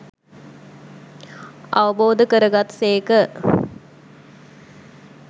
අවබෝධ කරගත් සේක